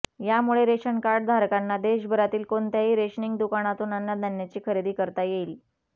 यामुळे रेशनकार्डधारकांना देशभरातील कोणत्याही रेशनिंग दुकानातून अन्नधान्याची खरेदी करता येईल